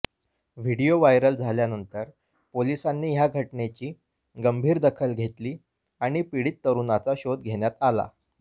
video viral झाल्यानंतर पोलिसांनी या घटनेची गंभीर दखल घेतली आणि पीडित तरुणाचा शोध घेण्यात आला